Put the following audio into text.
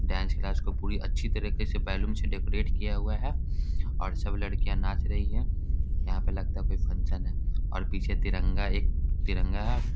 Dance class को पूरी अच्छी तरीके से बैलून से डेकोरेट किया हुआ है और सब लड़कियाँ नाच रही है यहाँ पे लगता है कोई फंक्शन है और पीछे तिरंगा एक तिरंगा है।